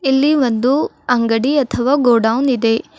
ಇಲ್ಲಿ ಒಂದು ಅಂಗಡಿ ಅಥವಾ ಗೋಡೌನ್ ಇದೆ.